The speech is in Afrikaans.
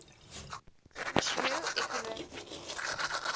sosio ekonomiese gebiede